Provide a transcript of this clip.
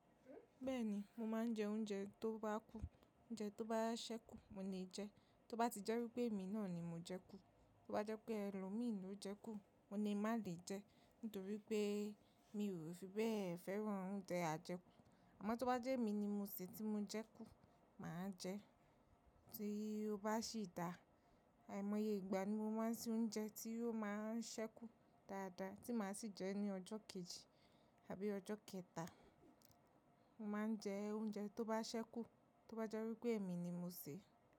Bẹ́ẹ̀ni, mo ma n je oúnjẹ tó bá kù, oúnjẹ tó bá sẹ́kù mo lè jẹ. Tó bá ti jẹ́ wípé èmi náà ni mo jẹ kú, tó bá jẹ́ pé ẹlòmíì ló jẹ kú, mo lè má lè jẹ nítorí pé mi ò fi bẹ́ẹ̀ fẹ́ràn oúnjẹ ajẹkù. Àmọ́ tó bá jẹ́ èmi ni mo sè tí mo jẹ kú, màá jẹ. Ti ó bá sì dà, àìmọye ìgbà ni mo máa n sìn oúnjẹ tí ó máa n sẹ́kù dáadáa tí màá sì jẹ́ ní ọjọ́ kejì àbí ọjọ́ kẹta. Mo máa n jẹ oúnjẹ tó bá sẹ́kù tó bá jẹ́ wípé èmi ni mo sè.